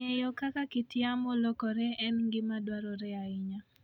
Ng'eyo kaka kit yamo lokore en gima dwarore ahinya.